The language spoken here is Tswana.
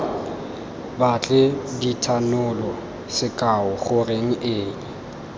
batle dithanolo sekao goreng eng